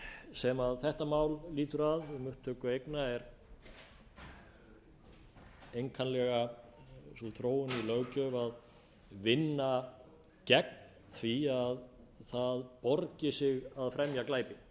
sem þetta mál lýtur að upptöku eigna er einkanlega sú þróun í löggjöf að vinna gegn því að það borgi sig að fremja glæpi